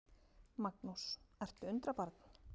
Magnús: Ertu undrabarn?